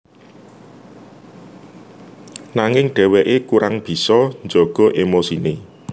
Nanging dheweke kurang bisa jaga emosine